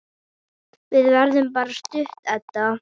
Við verðum bara stutt, Edda.